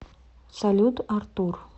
салют артур